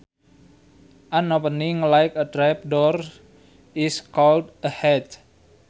An opening like a trap door is called a hatch